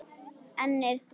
Ennið er þvalt.